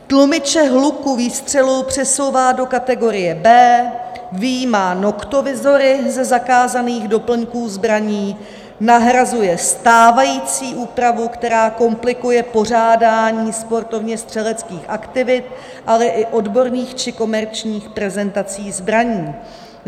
Tlumiče hluku výstřelu přesouvá do kategorie B vyjma noktovizory ze zakázaných doplňků zbraní, nahrazuje stávající úpravu, která komplikuje pořádání sportovněstřeleckých aktivit, ale i odborných či komerčních prezentací zbraní.